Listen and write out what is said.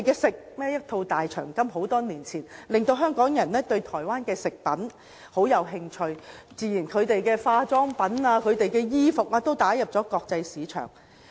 很多年前，一套"大長今"劇集，令香港人對韓國食品感到興趣，該國的化妝品及衣服都隨之打入國際市場。